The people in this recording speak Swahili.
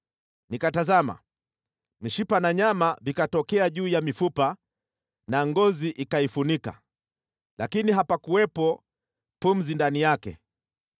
Nikatazama, mishipa na nyama vikatokea juu ya mifupa na ngozi ikaifunika, lakini hapakuwepo pumzi ndani yake.